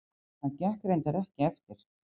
Það gekk reyndar ekki eftir.